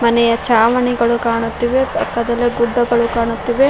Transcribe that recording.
ಮನೆಯ ಚಾವಣಿಗಳು ಕಾಣುತ್ತಿವೆ ಪಕ್ಕದಲ್ಲೆ ಗುಡ್ಡಗಳು ಕಾಣುತ್ತಿವೆ.